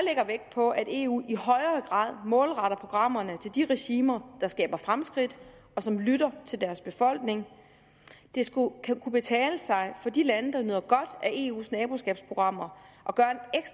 på at eu i højere grad målretter programmerne til de regimer der skaber fremskridt og som lytter til deres befolkning det skal kunne betale sig for de lande der nyder godt af eus naboskabsprogrammer